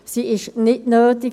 Sie ist nicht nötig.